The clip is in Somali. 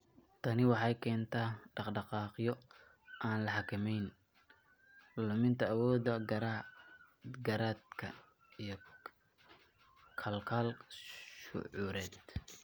Tani waxay keentaa dhaqdhaqaaqyo aan la xakamayn, luminta awoodaha garaadka, iyo khalkhal shucuureed.